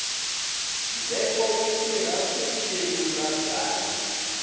ndzheko wu tirha ku kelula byalwa